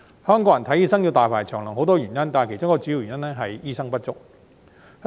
香港人看醫生要大排長龍有很多原因，其中一個主要原因是醫生不足。